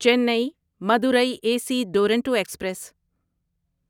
چینی Madurai A C Duronto express